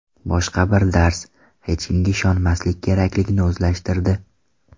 Boshqa bir dars: hech kimga ishonmaslik kerakligini o‘zlashtirdi.